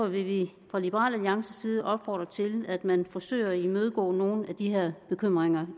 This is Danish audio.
vil vi fra liberal alliances side opfordre til at man forsøger at imødegå nogle af de her bekymringer